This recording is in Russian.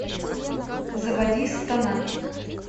заводи сатана